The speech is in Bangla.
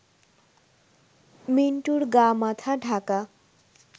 মিন্টুর গা মাথা ঢাকা